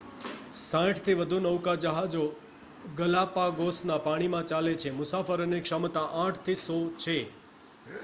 60થી વધુ નૌકાજહાજો ગલાપાગોસના પાણીમાં ચાલે છે મુસાફરોની ક્ષમતા 8 થી 100 સુધી